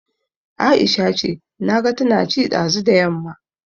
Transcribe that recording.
Aisha ce, naga tana ci ɗazu da yamma